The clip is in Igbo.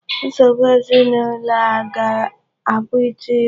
Nsogbu ezinụlọ a gá-abụ ịtụ ime.